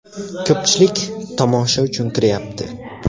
Ko‘pchilik tomosha uchun kiryapti.